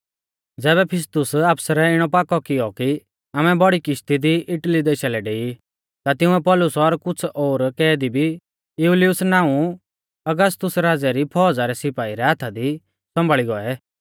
ज़ैबै फिस्तुस आफसरै इणौ पाकौ कियौ कि आमै बौड़ी किशती दी इटली देशा लै डेई ता तिंउऐ पौलुस और कुछ़ ओर कैदी भी यूलियुस नाऊं औगस्तुस राज़ै री फौज़ा रै सिपाई रै हाथा दी सौंभाल़ी गौऐ